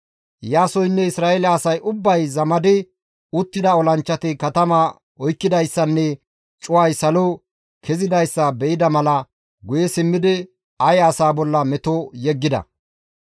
Iyaasoynne Isra7eele asay ubbay zamadi uttida olanchchati katamaa oykkidayssanne cuway salo kezidayssa be7ida mala guye simmidi Aye asaa bolla meto yeggida.